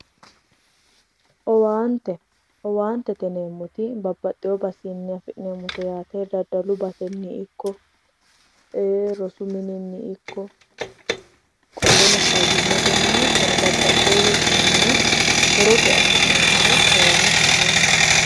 owaante owaantete yineemmoti babbaxewo basenni afi'neemmote yaate daddalu basenni ikko rosu mininni ikko qoleno fayyimmate mine hattono babbaxewowichinni horote afi'neemmore owaantete yinanni